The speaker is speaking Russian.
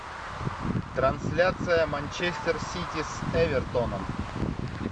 трансляция манчестер сити с эвертоном